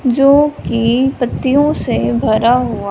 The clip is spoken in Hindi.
जो की पत्तियों से भरा हुआ--